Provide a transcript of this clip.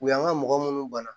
U y'an ka mɔgɔ minnu bana